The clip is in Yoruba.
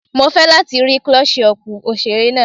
Mo fẹ́ láti rí Klọ́sí ọpù òṣèré náà.